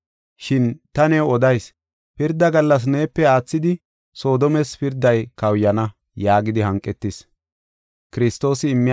Shin ta new odayis; pirda gallas neepe aathidi Soodomes pirday kawuyana” yaagidi hanqetis.